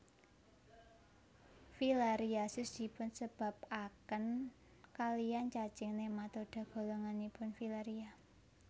Filariasis dipunsebabaken kalian cacing nematoda golonganipun filaria